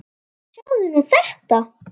Sjáðu nú þetta!